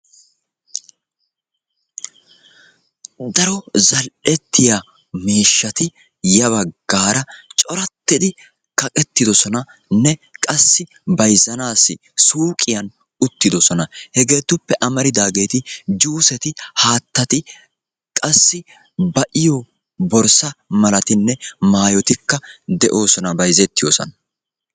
Daro zal'ettiya miishshati yabaggaara corattidi kaqettidosonanne qassi bayizzanaassi suuqiyan uttidosona. Hegeetuppe amaridaageeti juuseti haattati qassi ba'iyo borssa malatinne maayotikka de'oosona bayizettiyosan.